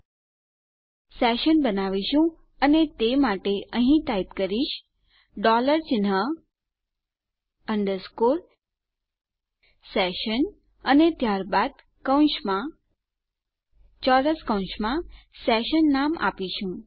આપણે સેશન બનાવીશું અને તે માટે અહીં ટાઈપ કરીશ ડોલર ચિન્હ અંડરસ્કોર સેશન અને ત્યારબાદ કૌંસમાં ચોરસ કૌંસમાં સેશન નામ આપીશું